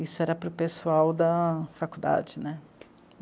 Isso era para o pessoal da faculdade, né?